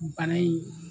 Bana in